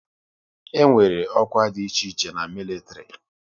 E nwere ọkwá dị iche iche na militiri